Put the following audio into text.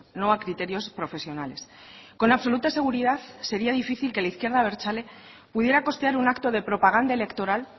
no a criterios profesionales con absoluta seguridad sería difícil que la izquierda abertzale pudiera costear un acto de propaganda electoral